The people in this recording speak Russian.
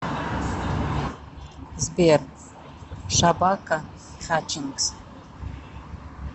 сбер шабака хатчингс